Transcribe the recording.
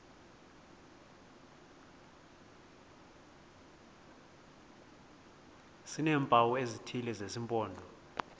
sineempawu ezithile zesimpondo